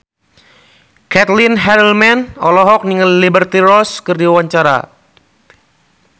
Caitlin Halderman olohok ningali Liberty Ross keur diwawancara